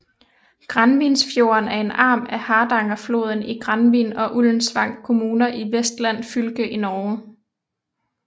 Granvinsfjorden er en arm af Hardangerfjorden i Granvin og Ullensvang kommuner i Vestland fylke i Norge